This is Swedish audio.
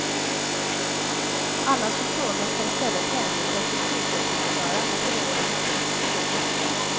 Alla som frågar skall i stället hänvisas till sjukhusdirektören eller någon av hans mest förtrogna.